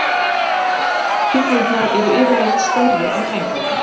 Hrygnurnar eru yfirleitt stærri en hængarnir.